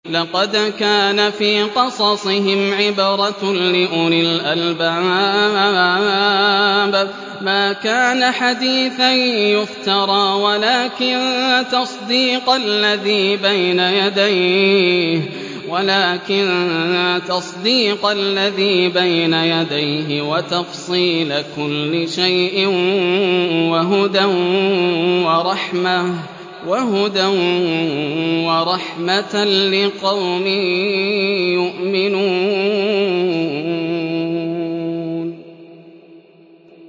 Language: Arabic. لَقَدْ كَانَ فِي قَصَصِهِمْ عِبْرَةٌ لِّأُولِي الْأَلْبَابِ ۗ مَا كَانَ حَدِيثًا يُفْتَرَىٰ وَلَٰكِن تَصْدِيقَ الَّذِي بَيْنَ يَدَيْهِ وَتَفْصِيلَ كُلِّ شَيْءٍ وَهُدًى وَرَحْمَةً لِّقَوْمٍ يُؤْمِنُونَ